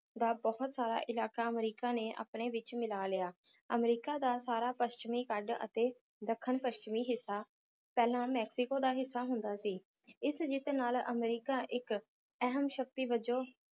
ਦਾ ਬਹੁਤ ਸਾਰਾ ਇਲਾਕਾ ਅਮਰੀਕਾ ਨੇ ਆਪਣੇ ਵਿਚ ਮਿਲਾ ਲਿਆ ਅਮਰੀਕਾ ਦਾ ਸਾਰਾ ਪੱਛਮੀ ਕੱਢ ਅਤੇ ਦੱਖਣ-ਪੱਛਮੀ ਹਿੱਸਾ ਪਹਿਲਾਂ ਮੈਕਸੀਕੋ ਦਾ ਹਿੱਸਾ ਹੁੰਦਾ ਸੀ ਇਸ ਜਿੱਤ ਨਾਲ ਅਮਰੀਕਾ ਇੱਕ ਅਹਿਮ ਸ਼ਕਤੀ ਵਜੋਂ